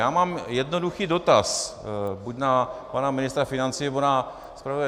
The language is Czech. Já mám jednoduchý dotaz buď na pana ministra financí, nebo na zpravodaje.